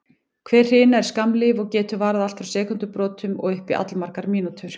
Hver hrina er skammlíf og getur varað allt frá sekúndubrotum og upp í allmargar mínútur.